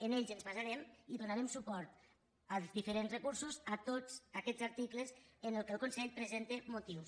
en ells ens basarem i donarem suport als diferents recursos a tots aquests articles en què el consell presenta motius